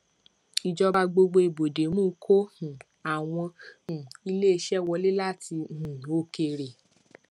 ìjọba gbogbo ibodè mú kó um àwọn um ilé iṣẹ wọlé láti um òkèèrè